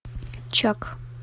чак